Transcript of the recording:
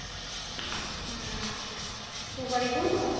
ହଁ ତୁ କରିବୁ